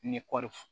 Ni kɔɔri